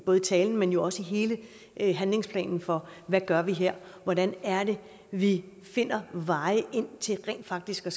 talen men jo også i hele handlingsplanen for hvad vi gør her hvordan det er vi finder veje ind til rent faktisk at